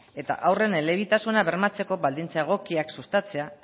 eta haurren elebitasuna bermatzeko baldintza egokiak sustatzea